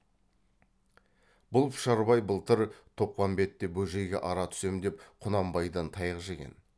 бұл пұшарбай былтыр тоқпамбетте бөжейге ара түсем деп құнанбайдан таяқ жеген